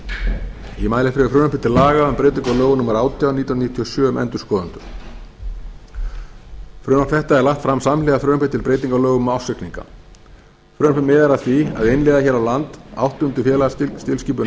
hér fyrir frumvarpi til laga um breytingu á lögum númer átján nítján hundruð níutíu og sjö um endurskoðendur frumvarp þetta er lagt fram samhliða frumvarpi til breytinga á lögum um ársreikninga frumvarpið miðar að því að innleiða hér á landi áttunda félagatilskipun